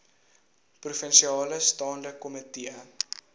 provinsiale staande komitee